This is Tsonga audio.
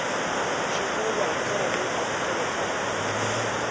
swivulwa hi ndlela leyi amukelekaka